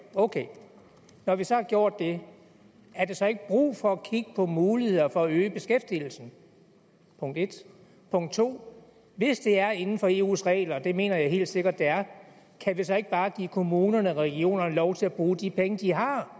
ok når vi så har gjort det er der så ikke brug for at kigge på muligheder for at øge beskæftigelsen punkt 1 punkt 2 hvis det er inden for eus regler og det mener jeg helt sikkert det er kan vi så ikke bare give kommunerne og regionerne lov til at bruge de penge de har